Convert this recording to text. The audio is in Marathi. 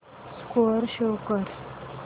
स्कोअर शो कर